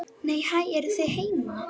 Nei, hæ, eruð þið heima!